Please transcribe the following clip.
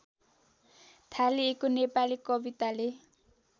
थालिएको नेपाली कविताले